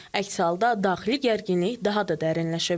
Əks halda daxili gərginlik daha da dərinləşə bilər.